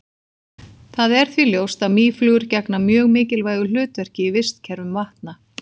Það er því ljóst að mýflugur gegna mjög mikilvægu hlutverki í vistkerfum vatna.